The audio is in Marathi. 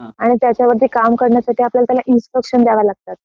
आणि त्याच्यामध्ये काम करण्यासाठी आपल्याला त्याला इंस्ट्रक्शन द्याव्या लागतात